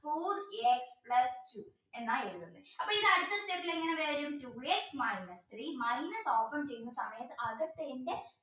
four x plus എന്താ എഴുതുന്നത് അപ്പോ അടുത്ത step ൽ ഇങ്ങനെ വരും two x minus three minus